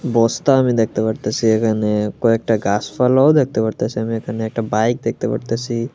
বস্তা আমি দেখতে পারতাছি এখানে কয়েকটা গাছপালাও দেখতে পারতাছি আমি এখানে একটা বাইক দেখতে পারতাছি।